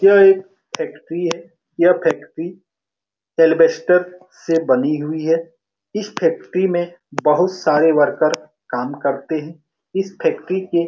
यह एक फैक्टरी है यह फैक्टरी एलबेस्टर से बनी हुई है इस फैक्टरी में बहुत सारे वर्कर्स काम करते हैं इस फैक्टरी के --